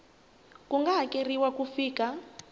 ku nga hakeriwa ku fika